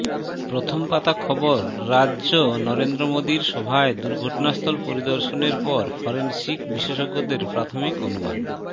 প্রথম পাতা খবর রাজ্য নরেন্দ্র মোদীর সভায় দুর্ঘটনাস্থল পরিদর্শনের পর ফরেনসিক বিশেষজ্ঞদের প্রাথমিক অনুমান